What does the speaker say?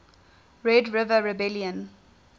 red river rebellion